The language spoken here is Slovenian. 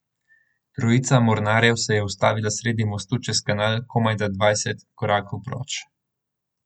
Trojica mornarjev se je ustavila sredi mostu čez kanal, komajda dvajset korakov proč.